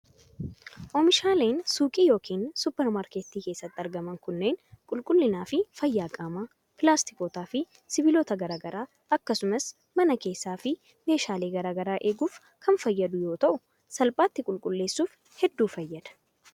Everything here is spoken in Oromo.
Oomishaaleen suuqii yokin supparmaarketti keessatti argaman kunneen, qulqullina fi fayyaa qaamaa, pilaastokootaa fi sibiilota garaa garaa akkasumas mana keessaa fi meeshaalee garaa garaa eeguuf kan fayyadu yoo ta'u salphaatti qulqulleessuuf hedduu fayyada.